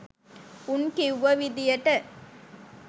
උන් කිව්ව විදියට